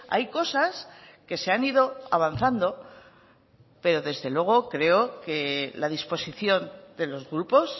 hay cosas que se han ido avanzando pero desde luego creo que la disposición de los grupos